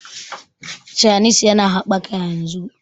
chanis ya na habbaka yanzu